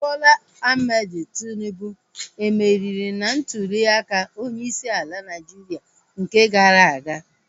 Bola Ahmed Tinubu e meriri na ntuliaka onyeisi ala Naịjiria nke gara aga?